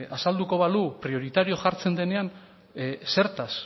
azalduko balu prioritario jartzen denean zertaz